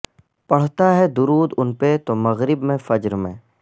پڑھتا ہے درود ان پہ تو مغرب میں فجر میں